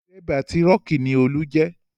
Dérébà tírọ́kì ni Olú jẹ́